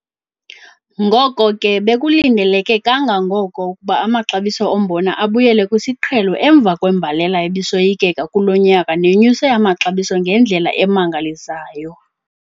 Ngoko ke bekulindeleke kangangoko ukuba amaxabiso ombona abuyele kwisiqhelo emva kwembalela ebisoyikeka kulo nyaka nenyuse amaxabiso ngendlela emangalisayo.